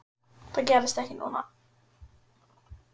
Það gerðist ekki núna.